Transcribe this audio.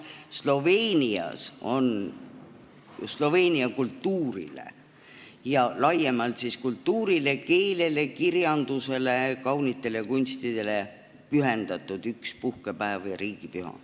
Sloveenias on sloveenia kultuurile, laiemalt kultuurile, keelele, kirjandusele, kaunitele kunstidele pühendatud puhkepäev või riigipüha.